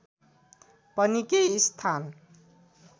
पनि केही स्थान